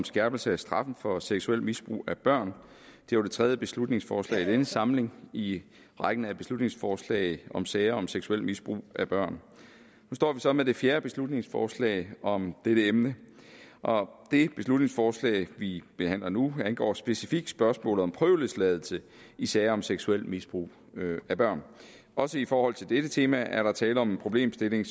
skærpelse af straffen for seksuelt misbrug af børn og det var det tredje beslutningsforslag i denne samling i rækken af beslutningsforslag om sager om seksuelt misbrug af børn og nu står vi så med det fjerde beslutningsforslag om dette emne og det beslutningsforslag vi behandler nu angår specifikt spørgsmålet om prøveløsladelse i sager om seksuelt misbrug af børn også i forhold til dette tema er der tale om en problemstilling